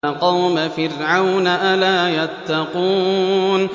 قَوْمَ فِرْعَوْنَ ۚ أَلَا يَتَّقُونَ